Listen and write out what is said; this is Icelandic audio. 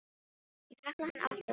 Ég kalla hann alltaf Sám frænda.